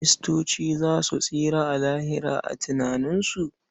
Kiristoci ma za su tsira a Lahira a tunaninsu.